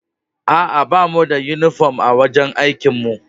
Aa, ba mu da uniform a'wajen aikin mu.